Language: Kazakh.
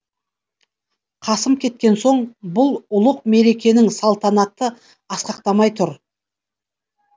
қасым кеткен соң бұл ұлық мерекенің салтанаты асқақтамай тұр